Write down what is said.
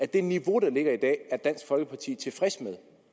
det niveau der ligger i dag er dansk folkeparti tilfreds